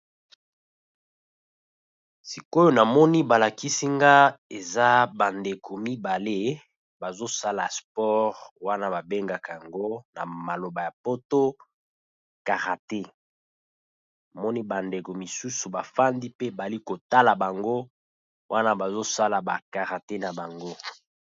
sikoyo na moni balakisi nga eza bandeko mibale bazosala spore wana babengaka yango na maloba ya poto karate moni bandeko mosusu bafandi pe bali kotala bango wana bazosala bakarate na bango